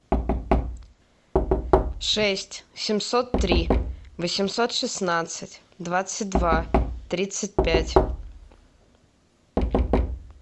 шесть семьсот три восемьсот шестнадцать двадцать два тридцать пять